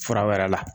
Fura wɛrɛ la